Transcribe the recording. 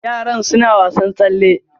Yaran suna wasar tsalle.